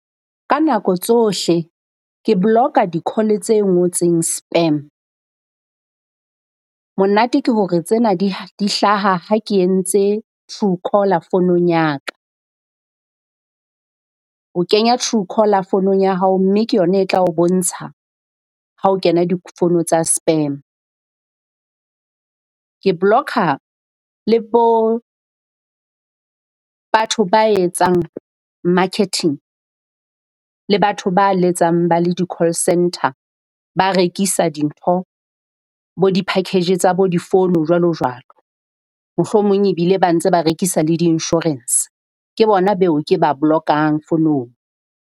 Ka nako tsohle ke block-a di call tse ngotseng spam. Monate ke hore tsena di di hlaha ha ke entse Truecaller founung ya ka. O kenya Truecaller fonong ya hao, mme ke yona e tla o bontsha ha ho kena difono tsa spam. Ke block-a le bo batho ba etsang marketing le batho ba letsang ba le di-call centre ba rekisa dintho, bo di-package tsa bo difono jwalo jwalo. Mohlomong ebile ba ntse ba rekisa le di-insurance ke bona beo ke ba block-ang fonong.